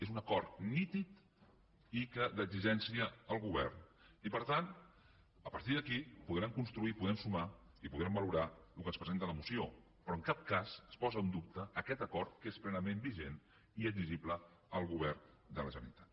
és un acord nítid d’exigència al govern i per tant a partir d’aquí podrem construir podrem sumar i podrem valorar el que ens presenta la moció però en cap cas es posa en dubte aquest acord que és plenament vigent i exigible al govern de la generalitat